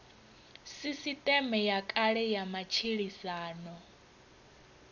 sisiṱeme ya kale ya matshilisano